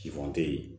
Sifɔn tɛ yen